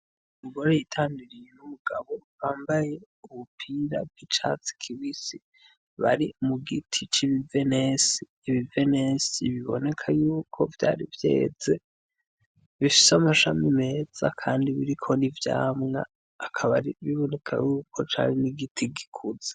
Umugore yitamiriye inumugabo bambaye ubupira bw'i catsi kibisi bari mu giti c'ibivenesi ibivenesi biboneka yuko vyari vyeze bifhise amashami meza, kandi biriko rivyamwa akabari biboneka yuko cari n'igiti gikuza.